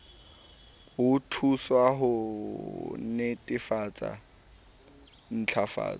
ho thuswa ho netefatsa ntlafatso